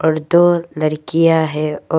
और दो लड़कियां है और--